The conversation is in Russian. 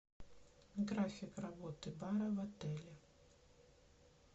график работы бара в отеле